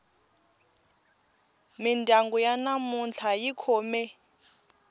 mindyangu ya namuntlha yi khome